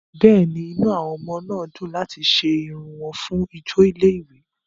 Bẹ́ẹ̀ni, inú àwọn ọmọ náà dùn láti ṣe irun wọn fún ijó ilé-ìwé.